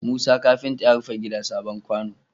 Musa kafinta ya rufe gida sabon kwano